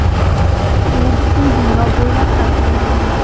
U butun dunyo bo‘ylab tarqalgan.